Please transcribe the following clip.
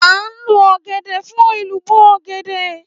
À ń lo ọ̀gẹ̀dẹ̀ fún ẹ̀lùbọ́ ọ̀gẹ̀dẹ̀.